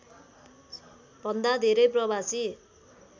भन्दा धेरै प्रवासी